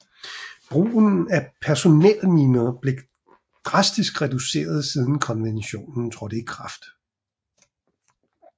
Brugen af personelminer er blevet dramatisk reduceret siden konventionen trådte i kraft